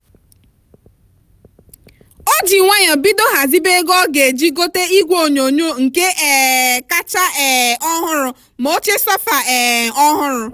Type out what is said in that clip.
o ji nwayọọ bido ghazibe ego ọ ga eji gote igwe onyonyo nke um kacha um ọhụrụ ma oche sofa um ọhụrụ.